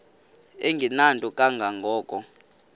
engenanto kanga ko